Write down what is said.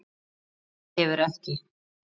Þetta hefur ekki?